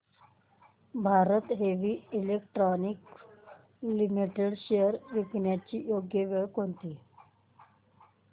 Bharat heavy electricals limited shares विकण्याची योग्य वेळ कोणती